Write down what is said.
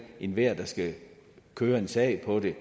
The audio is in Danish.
enhver der skal køre en sag på det